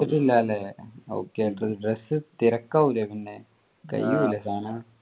എടുത്തിട്ടില്ല അല്ലെ okay dress തിരക്കാവൂലെ പിന്നെ കയ്യൂലെ സാധനം